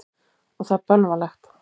Og það er bölvanlegt.